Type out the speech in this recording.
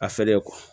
A fɛlen kɔ